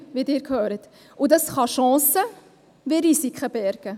Das kann sowohl Chancen als auch Risiken bergen.